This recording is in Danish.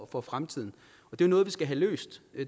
for fremtiden det er noget vi skal have løst